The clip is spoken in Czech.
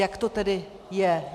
Jak to tedy je?